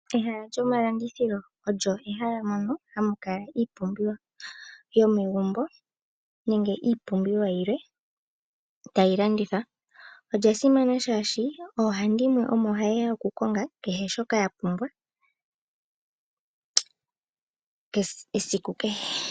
Ehala lyomalandithilo olyo ehala mono hamu kala iipumbiwa yomegumbo nenge iipumbiwa yilwe tayi landithwa, olya simana shaashi oohandimwe omo hayeya okukonga kehe shoka yapumbwa esiku kehe.